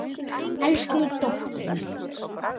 Elsku dóttir mín.